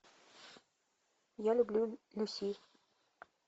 я люблю люси